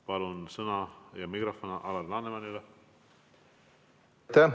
Palun, sõna ja mikrofon Alar Lanemanile!